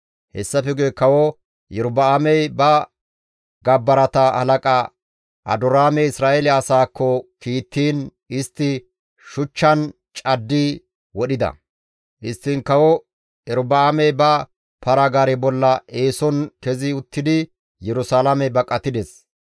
Hessafe guye kawo Erobi7aamey ba gabbarata halaqa Adoraame Isra7eele asaakko kiittiin istti shuchchan caddi wodhida. Histtiin Kawo Erobi7aamey ba para-gaare bolla eeson kezi uttidi Yerusalaame baqatides.